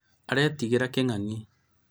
aretigĩra kĩng'ang'i